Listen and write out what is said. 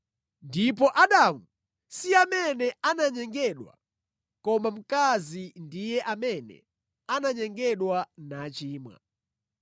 Ndipo Adamu si amene ananyengedwa koma mkazi ndiye amene ananyengedwa nachimwa.